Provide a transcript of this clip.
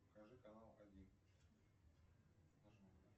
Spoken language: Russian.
покажи канал один